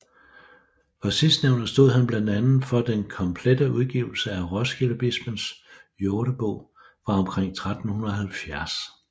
For sidstnævnte stod han blandt andet for den komplette udgivelse af Roskildebispens Jordebog fra omkring 1370